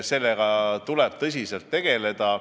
Sellega tuleb tõsiselt tegeleda.